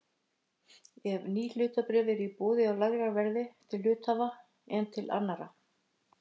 ef ný hlutabréf eru boðin á lægra verði til hluthafa en til annarra.